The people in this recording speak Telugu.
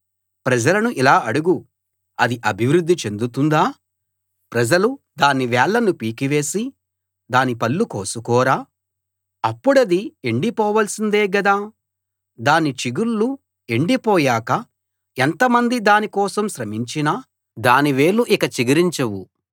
ప్రజలను ఇలా అడుగు అది అభివృద్ధి చెందుతుందా ప్రజలు దాని వేళ్ళను పీకివేసి దాని పళ్ళు కోసుకోరా అప్పుడది ఎండి పోవాల్సిందే గదా దాని చిగుళ్ళు ఎండి పోయాక ఎంతమంది దాని కోసం శ్రమించినా దాని వేళ్ళు ఇక చిగురించవు